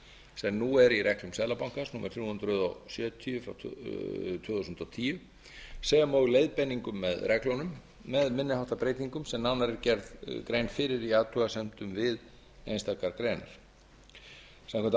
sem nú eru í reglum seðlabankans númer þrjú hundruð sjötíu tvö þúsund og tíu sem og leiðbeiningum með reglunum með minni háttar breytingum sem nánar er gerð grein fyrir í athugasemdum við einstakar greinar samkvæmt ákvæðunum